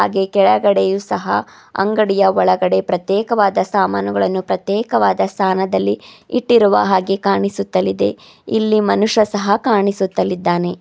ಹಾಗೆ ಕೆಳಗಡೆಗೂ ಸಹ ಅಂಗಡಿಯ ಒಳಗಡೆ ಪ್ರತ್ಯೇಕವಾದ ಸಾಮಾನುಗಳನ್ನು ಪ್ರತ್ಯೇಕವಾದ ಸ್ಥಾನದಲ್ಲಿ ಇಟ್ಟಿರುವ ಹಾಗೆ ಕಾಣಿಸುತ್ತಲಿದೆ ಇಲ್ಲಿ ಮನುಷ್ಯ ಸಹ ಕಾಣಿಸುತ್ತಲಿದ್ದಾನೆ.